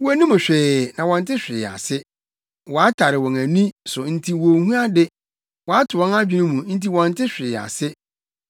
Wonnim hwee, na wɔnte hwee ase; wɔatare wɔn ani so nti wonhu ade, wɔato wɔn adwene mu nti wɔnte hwee ase.